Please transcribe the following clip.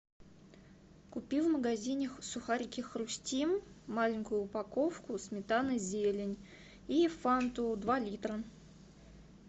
купи в магазине сухарики хрустим маленькую упаковку сметана зелень и фанту два литра